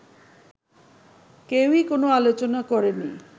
কেউই কোন আলোচনা করেনি